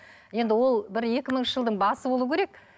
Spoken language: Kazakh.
енді ол бір екі мыңыншы жылдың басы болу керек